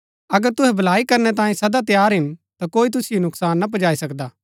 अगर तुहै भलाई करनै तांये सदा तैयार हिन ता कोई तुसिओ नुकसान ना पुजाई सकदा